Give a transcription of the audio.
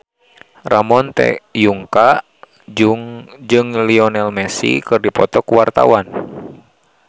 Ramon T. Yungka jeung Lionel Messi keur dipoto ku wartawan